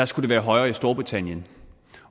skulle være højere i storbritannien